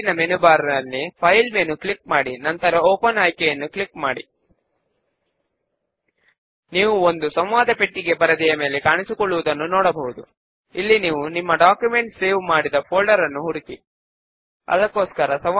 పైన ఉన్న form controls toolbar లోని లాబెల్ ఐకాన్ ను క్లిక్ చేద్దాము మరియు దానిని ఫామ్ పైకి లాగుదాము